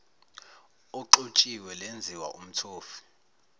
oxutshiwe lenziwa umthofu